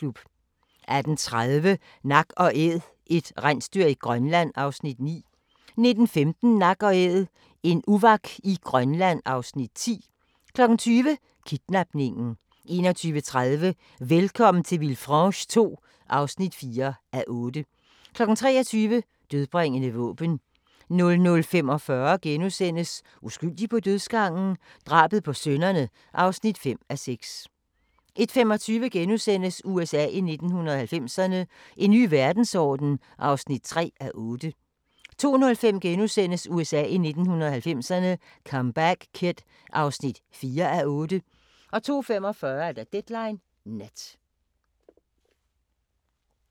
18:30: Nak & Æd – et rensdyr i Grønland (Afs. 9) 19:15: Nak & Æd – en uvak i Grønland (Afs. 10) 20:00: Kidnapningen 21:30: Velkommen til Villefranche II (4:8) 23:00: Dødbringende våben 00:45: Uskyldig på dødsgangen? Drabet på sønnerne (5:6)* 01:25: USA i 1990'erne – En ny verdensorden (3:8)* 02:05: USA i 1990'erne – Comeback Kid (4:8)* 02:45: Deadline Nat